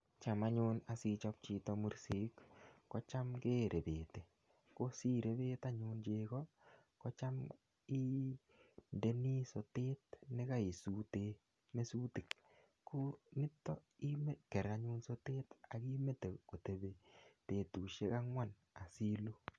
Cham anyun asichop chito mursik, kocham kerepeti. Ko sirepet anyun chego kocham indeni sotet nekaisute mesutik. Ko yutok imetker anyun sotet ak imete kotepi betusiek angwan asiluu.